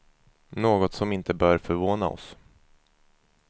Något som inte bör förvåna oss.